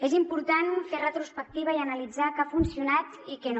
és important fer retrospectiva i analitzar què ha funcionat i què no